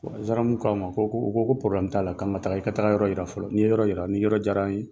Zanramu k'a ma ko ko ko k'an ka taa i ka taa yɔrɔ yira fɔlɔ, ni ye yɔrɔ yira, ni yɔrɔ diyara an ye